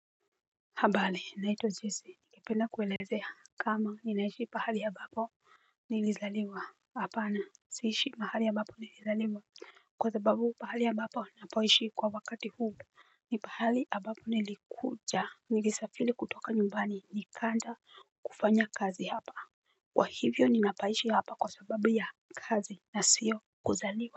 Habale naitwa jesi ningependa kuelezea kama ninaishi pahali ya ambapo nilizaliwa hapana. Siishi pahali ambapo nilizaliwa kwa sababu pahali ambapo napoishi kwa wakati huu mi pahali ambapo nilikuja, nilisafili kutoka nyumbani nikaja kufanya kazi hapa. Kwa hivyo ninapaishi hapa kwa sababu ya kazi na sio kuzaliwa.